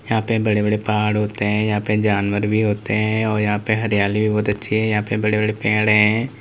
यहां पे बड़े-बड़े पहाड़ होते है यहां पे जानवर भी होते है और यहां पे हरियाली भी बहुत अच्छी है यहां पे बड़े-बड़े पेड़ हैं।